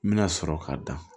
N bɛna sɔrɔ k'a da